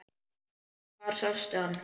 Hvar sástu hann?